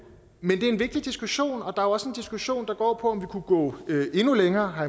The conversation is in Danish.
men det er en vigtig diskussion og der er også en diskussion der går på om vi kunne gå endnu længere har